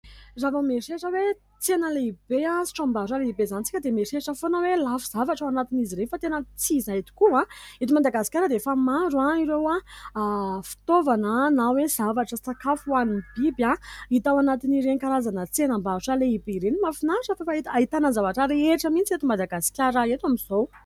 Raha vao mieritreritra hoe tsena lehibe sy tranombarotra lehibe izany isika dia mieritreritra foana hoe lafo zavatra ao anatin'izy ireny ; fa tena tsy izay tokoa. Eto Madagasikara dia efa maro ireo fitaovana na hoe zavatra sakafo ho an'ny biby hita ao anatin'ireny karazana tsenam-barotra lehibe ireny. Mafinahitra fa efa ahitana zavatra rehetra mihitsy eto Madagasikara eto amin'izao.